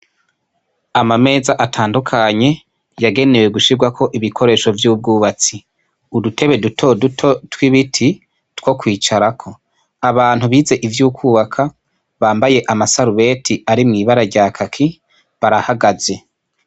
Amameza atandukanye yagenewe gushirako ibikoreko vy'ubwubatsi, udutebe duto duto tw'ibiti two kwicarako abantu bize bize ivy'ukubaka bambaye amasarubeti ari mw'ibara rya kaki barahagaze.